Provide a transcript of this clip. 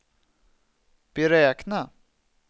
beräkna